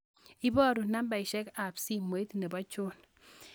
Iborun nambaisyek ab simoit nebo John